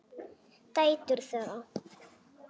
Dætur þeirra